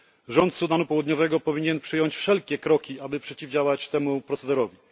Rząd Sudanu Południowego powinien przyjąć wszelkie kroki, aby przeciwdziałać temu procederowi.